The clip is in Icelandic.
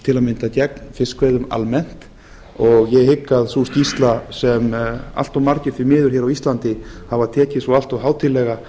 til að mynda gegn fiskveiðum almennt og ég hygg að sú skýrsla sem allt of margir því miður hér á íslandi hafa tekið svo allt of hátíðlega